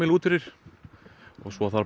út fyrir og svo þarf